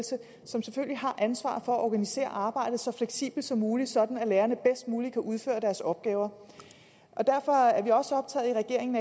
som selvfølgelig har ansvaret for at organisere arbejdet så fleksibelt som muligt sådan at lærerne bedst muligt kan udføre deres opgaver derfor er vi i regeringen